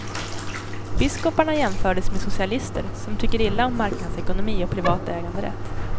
Biskoparna jämfördes med socialister, som tycker illa om marknadsekonomi och privat äganderätt.